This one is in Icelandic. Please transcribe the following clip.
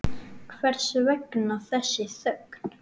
Hvers vegna þessi þögn?